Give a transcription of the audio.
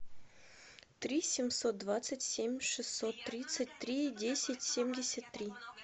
три семьсот двадцать семь шестьсот тридцать три десять семьдесят три